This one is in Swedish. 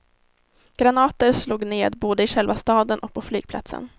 Granater slog ned både i själva staden och på flygplatsen.